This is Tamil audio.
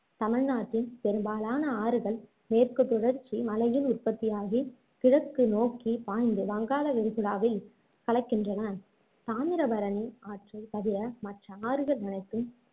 தமிழ்நாட்டின் பெரும்பாலான ஆறுகள் மேற்கு தொடர்ச்சி மலையில் உற்பத்தியாக கிழக்கு நோக்கி பாய்ந்து வங்காள விரிகுடாவில் கலக்கின்றன தாமிரபரணி ஆற்றை தவிர மற்ற ஆறுகள் அனைத்தும்